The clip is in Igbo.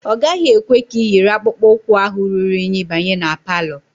Ọ gaghị ekwe ka iyiri akpụkpọ ụkwụ ahụ ruru unyi banye ma palọ